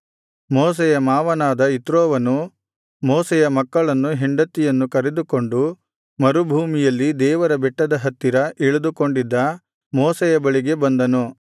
ಮೋಶೆಯ ಮಾವನಾದ ಇತ್ರೋವನು ಮೋಶೆಯ ಮಕ್ಕಳನ್ನು ಹೆಂಡತಿಯನ್ನು ಕರೆದುಕೊಂಡು ಮರುಭೂಮಿಯಲ್ಲಿ ದೇವರ ಬೆಟ್ಟದ ಹತ್ತಿರ ಇಳಿದುಕೊಂಡಿದ್ದ ಮೋಶೆಯ ಬಳಿಗೆ ಬಂದನು